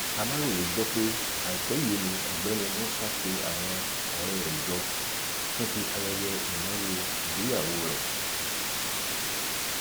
aláròye gbọ pé àìpẹ yìí ni ọgbẹni musa pe àwọn ọrẹ rẹ jọ fún ti ayẹyẹ ìnáwó ìgbéyàwó rẹ